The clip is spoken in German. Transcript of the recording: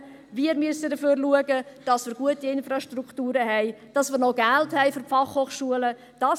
Wir müssen dafür schauen, dass wir gute Infrastrukturen und noch Geld für die Fachhochschulen haben.